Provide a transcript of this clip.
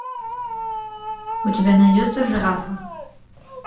у тебя найдется жирафа